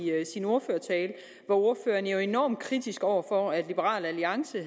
sin ordførertale var ordføreren jo enormt kritisk over for at liberal alliance